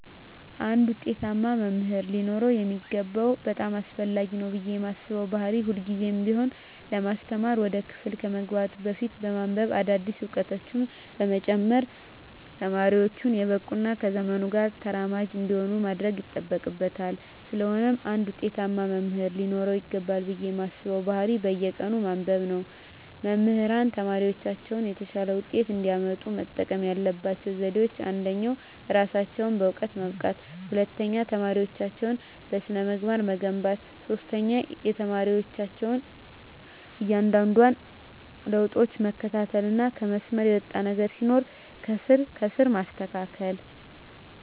አንድ ውጤታማ መምህር ሊኖረው የሚገባው በጣም አስፈላጊ ነው ብየ ማስበው ባህሪ ሁልግዜም ቢሆን ለማስተማር ወደ ክፍል ከመግባቱ በፊት በማንብበ አዳዲስ እውቀቶችን በመጨመር ተማሪወቹን የበቁ እና ከዘመኑ ጋር ተራማጅ እንዲሆኑ ማድረግ ይጠበቅበታል ስለሆነም አንድ ውጤታማ መምህር ሊኖረው ይገባል ብየ ማስበው ባህሪ በየቀኑ ማንበብ ነው። መምህራን ተማሪወቻቸው የተሻለ ውጤት እንዲያመጡ መጠቀም ያለባቸው ዘዴወች አንደኛ እራሳቸውን በእውቀት ማብቃት፣ ሁለተኛ ተማሪወቻቸውን በስነ-ምግባር መገንባት፣ ሶስተኛ የተማሪወቻቸውን እያንዳንዷን ለውጣቸውን መከታተልና ከመስመር የወጣ ነገር ሲኖር ከስር ከስር ማስተካከል።